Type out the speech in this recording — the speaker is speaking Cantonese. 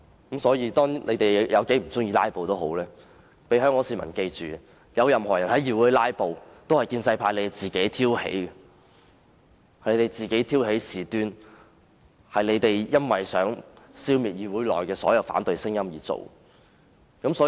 不管香港市民有多不喜歡"拉布"，他們也要記緊，任何人在議會"拉布"都是由建制派挑起的，是他們挑起事端的，是他們想消滅議會內的反對聲音而引起的。